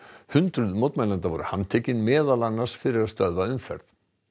hundruð mótmælenda voru handtekin meðal annars fyrir að stöðva umferð